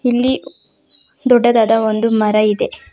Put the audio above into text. ಇಲ್ಲಿ ದೊಡ್ಡದಾದ ಒಂದು ಮರ ಇದೆ.